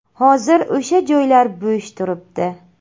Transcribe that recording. Hozir o‘sha joylar bo‘sh turibdi.